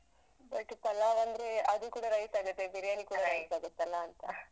But pulao ಅಂದ್ರೆ ಅದು ಕೂಡ rice ಆಗತ್ತೆ, biryani rice ಆಗತ್ತಲ್ಲಂತ ter